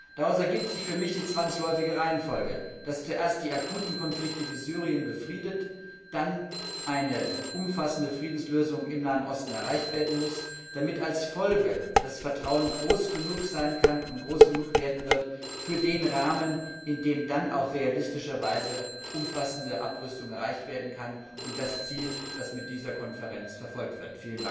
Daraus ergibt sich für mich die zwangsläufige Reihenfolge, dass zuerst die akuten Konflikte wie Syrien befriedet, dann eine umfassende Friedenslösung im Nahen Osten erreicht werden muss, damit als Folge das Vertrauen groß genug sein kann und groß genug werden wird für den Rahmen, in dem dann auch realistischerweise umfassende Abrüstung erreicht werden kann und das Ziel, das mit dieser Konferenz verfolgt wird.